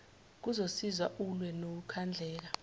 kuzokusiza ulwe nokukhandleka